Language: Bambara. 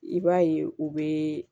I b'a ye u bɛ